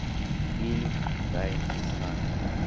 фильм тайный знак